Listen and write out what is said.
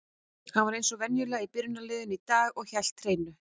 Hann var eins og venjulega í byrjunarliðinu í dag og hélt hreinu.